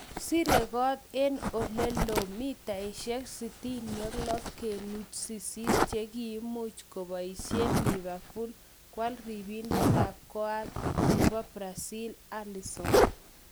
Sire kot en olelo �66.8m che kiimuch kopaisien liverpool koal ripindet ap koal nepo Brazil Alison